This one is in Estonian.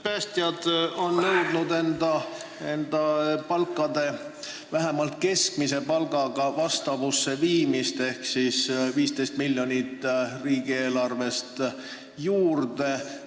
Päästjad on nõudnud oma palga viimist vastavusse vähemalt keskmise palgaga ehk siis 15 miljonit eurot riigieelarvest juurde.